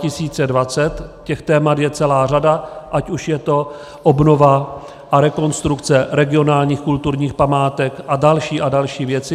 Těch témat je celá řada, ať už je to obnova a rekonstrukce regionálních kulturních památek a další a další věci.